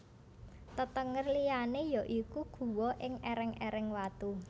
Tetenger liyané ya iku guwa ing èrèng èreng watu